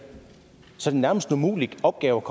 så er det nærmest en umulig opgave